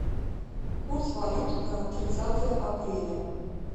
курс валют на тридцатое апреля